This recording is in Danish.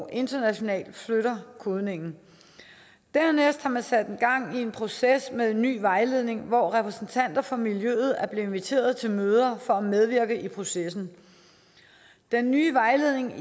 internationalt flytter kodningen dernæst har man sat gang i en proces med en ny vejledning hvor repræsentanter fra miljøet er blevet inviteret til møder for at medvirke i processen den nye vejledning